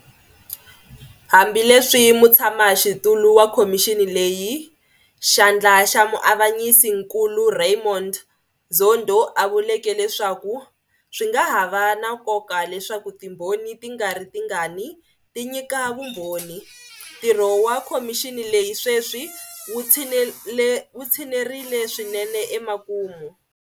Hambileswi mutshamaxitulu wa khomixini leyi, Xandla xa Muavanyisinkulu Raymond Zondo a vuleke leswaku swi nga ha va na nkoka leswaku ti mbhoni tingaritingani ti nyika vumbhoni, ntirho wa khomixini leyi sweswi wu tshinerile swinene emakumu.